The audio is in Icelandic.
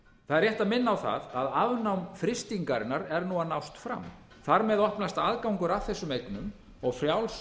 það er rétt að minna á það að afnám frystingarinnar er nú að nást fram þar með opnast aðgangur að þessum eignum ég frjáls